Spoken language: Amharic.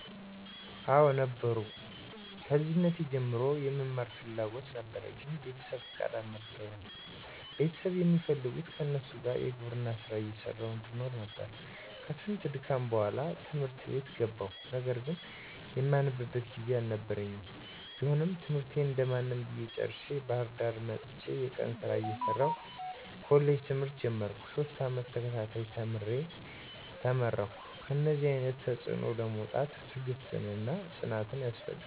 *አወ ነበሩ፦ ከልጅነቴ ጀምሮ የመማር ፍላጎት ነበረኝ ግን ቤተሰብ ፍቃደኛ አልነበሩም ቤተሰብ የሚፈልጉት ከነሱ ጋር የግብርና ስራ እየሰራሁ እንድኖር ነበር፤ ከስንት ድካም በኋላ ት/ት ቤት ገባሁ ነገር ግን የማነብበት ጊዜ አልነበረኝም ቢሆንም ትምህርቴን እንደማንም ብዬ ጨርሸ፤ ባህርዳር መጥቸ የቀን ስራ እየሰራሁ ኮሌጅ ትምህርት ጀመርኩ፤ ሶስት አመት ተከታታይ ተምሬ ተመረከሁ። ከእነደዚህ አይነት ተፅዕኖ ለመውጣት ትግስትና ፅናት ያስፈልጋል።